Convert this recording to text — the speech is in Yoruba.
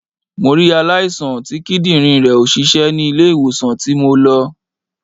Mo rí aláìsàn tí Kídìrín rẹ̀ ò ṣiṣẹ́ ni ilé ìwòsàn tí mo lọ